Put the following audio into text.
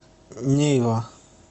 нейва